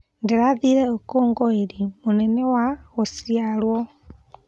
Ndĩrathire ũkũngũĩri mũnene wa gũciarwo.